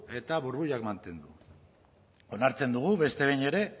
eta burbuilak mantendu onartze dugu beste behin ere